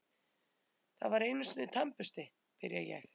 Það var einusinni tannbursti, byrja ég.